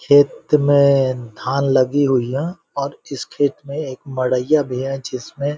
खेत में धान लगी हुईयां और इस खेत में एक मड़ईया भी हैं जिसमें